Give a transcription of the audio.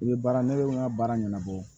I bɛ baara ne ka baara ɲɛnabɔ